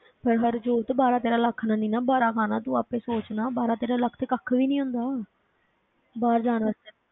ਫਿਰ ਹਰਜੋਤ ਬਾਰਾਂ ਤੇਰਾਂ ਲੱਖ ਨਾਲ ਨੀ ਨਾ ਬਾਰਾ ਖਾਣਾ, ਤੂੰ ਆਪੇ ਸੋਚ ਨਾ ਬਾਰਾਂ ਤੇਰਾਂ ਲੱਖ ਤੇ ਕੱਖ ਵੀ ਨੀ ਹੁੰਦਾ ਬਾਹਰ ਜਾਣ ਵਾਸਤੇ